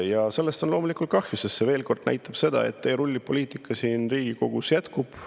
Ja sellest on loomulikult kahju, sest see veel kord näitab seda, et teerullipoliitika siin Riigikogus jätkub.